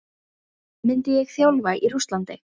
Myndi ég þjálfa í Rússlandi?